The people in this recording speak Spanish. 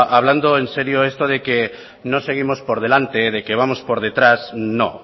hablando en serio esto de que no seguimos por delante de que vamos por detrás no